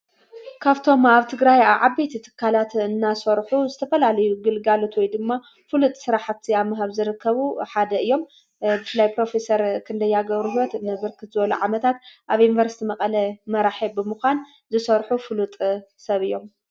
ካፍቶም ኣብቲ ግራይ ዓበት እትካላት እናሠርኁ ዝተፈላልዩ ግልጋሉትወይ ድማ ፍሉጥ ሥራሕቲ ኣብምሃብ ዝረከቡ ሓደ እዮም ፍላይ ጵሮፌሰር ኽንደይገብሩ ሕይወት ንብርክት ዝበሎ ዓመታት ኣብ ኢንበርስቲ መቐለ መራየብምዃን ዝሠርሑ ፍሉጥ ሰብ እዮም።